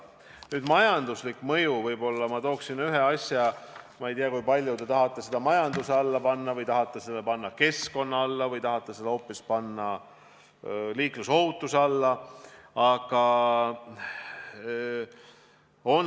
Nüüd, majandusliku mõjuga seoses tooksin ma võib-olla ühe asja välja – ehkki ma ei tea, kui palju te tahate seda majanduse alla panna, võib-olla paigutaksite selle hoopis keskkonna või liiklusohutuse alla.